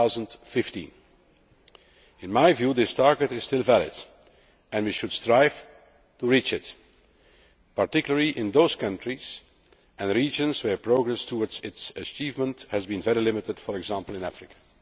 2015. In my view, that target is still valid, and we should strive to reach it particularly in those countries and regions where progress towards its achievement has been very limited, for example, in Africa.